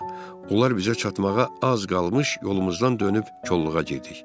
Onlar bizə çatmağa az qalmış, yolumuzdan dönüb kolluğa girdik.